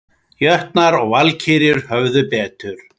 Jötnar og Valkyrjur höfðu betur